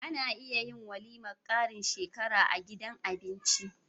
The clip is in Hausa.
Ana iya yin walimar karin shekara a gidan abinci